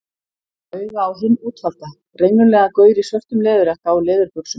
Hann kom auga á hinn útvalda, renglulegan gaur í svörtum leðurjakka og leðurbuxum.